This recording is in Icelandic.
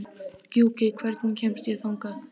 Gjúki, hvernig kemst ég þangað?